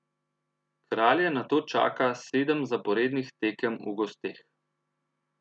Kralje nato čaka sedem zaporednih tekem v gosteh.